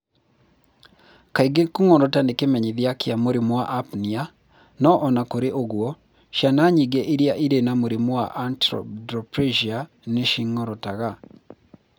Kaingĩ kũng'orota nĩ kĩmenyithia kĩa mũrimũ wa apnea, o na kũrĩ ũguo, ciana nyingĩ iria irĩ na mũrimũ wa achondroplasia nĩ cing'orotaga